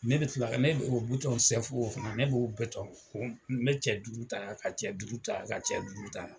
Ne bi kila ne o bitɔn sɛfu o fana ne b'o betɔn o n me cɛ duuru ta yan ka cɛ duuru ta yan ka cɛ duuru ta yan